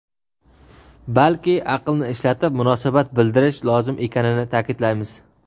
balki aqlni ishlatib munosabat bildirish lozim ekanini ta’kidlaymiz.